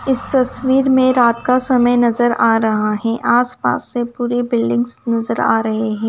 इस तस्वीर में रात का समय नजर आ रहा है आसपास से पूरी बिल्डिंग्स नजर आ रही हैं।